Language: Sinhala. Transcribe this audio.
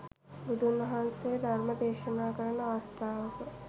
බුදුන් වහන්සේ ධර්ම දේශනා කරන අවස්ථාවක